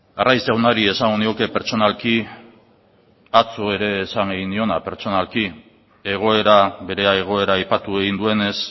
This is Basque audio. arraiz jaunari esango nioke pertsonalki atzo ere esan egin nion pertsonalki egoera bere egoera aipatu egin duenez